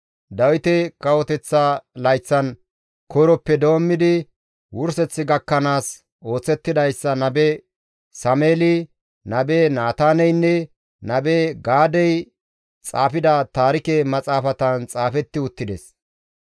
Dawite kawoteththa layththan koyroppe doommidi wurseth gakkanaas oosetidayssa nabe Sameeli, nabe Naataaneynne nabe Gaadey xaafida taarike Maxaafatan xaafetti uttides.